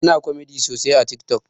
Ana komedi sosai a tik tok